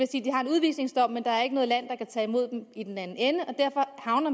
udvisningsdom men der er ikke noget land der kan tage imod dem i den anden ende og derfor havner